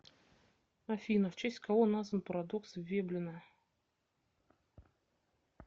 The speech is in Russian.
афина в честь кого назван парадокс веблена